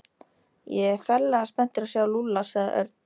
Ég er ferlega spenntur að sjá Lúlla sagði Örn.